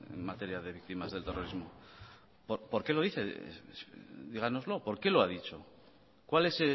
en materia de víctimas del terrorismo por qué lo dice díganoslo por qué lo ha dicho cuál es